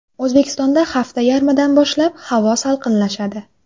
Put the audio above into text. O‘zbekistonda hafta yarmidan boshlab havo salqinlashadi.